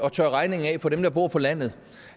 at tørre regningen af på dem der bor på landet